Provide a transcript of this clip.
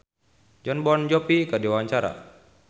Cita Citata olohok ningali Jon Bon Jovi keur diwawancara